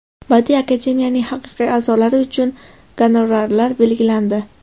Badiiy akademiyaning haqiqiy a’zolari uchun gonorarlar belgilandi.